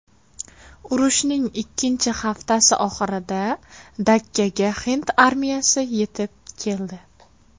Urushning ikkinchi haftasi oxirida Dakkaga hind armiyasi yetib keldi.